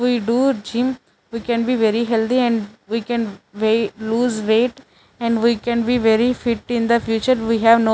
We do gym we can be very healthy and we can loose weight and we can be very fit in the future we have no--